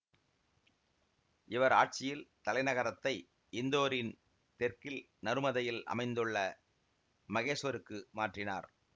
இவர் ஆட்சியில் தலைநகரத்தை இந்தோரின் தெற்கில் நருமதையில் அமைந்துள்ள மகேசுவருக்கு மாற்றினார்